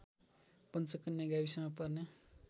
पञ्चकन्या गाविसमा पर्ने